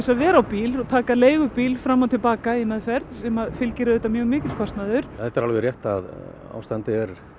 að vera á bíl og taka leigubíl fram og til baka í meðferð sem fylgir auðvitað mjög mikill kostnaður þetta er alveg rétt að ástandið er